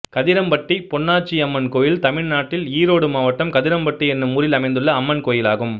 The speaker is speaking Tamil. கதிரம்பட்டி பொன்னாச்சியம்மன் கோயில் தமிழ்நாட்டில் ஈரோடு மாவட்டம் கதிரம்பட்டி என்னும் ஊரில் அமைந்துள்ள அம்மன் கோயிலாகும்